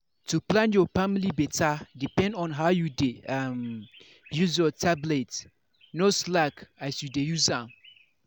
to plan your family better depend on how you dey um use your tablet. no slack as you dey use am.